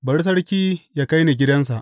Bari sarki yă kai ni gidansa.